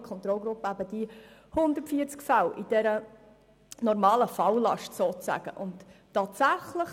In der Kontrollgruppe wurde die übliche Falllast von 140 Fällen bearbeitet.